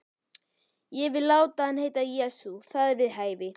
Ég vil láta hann heita Jesú. það er við hæfi.